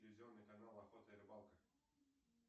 телевизионный канал охота и рыбалка